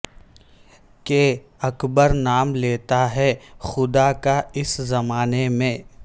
کہ اکبر نام لیتا ہے خدا کا اس زمانے میں